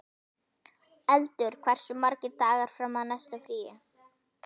Eldur, hversu margir dagar fram að næsta fríi?